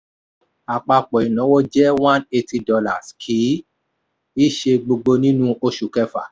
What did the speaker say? apapọ̀ ináwó jẹ́ one eighty dollars kì í ṣe gbogbo nínú oṣù kẹfà.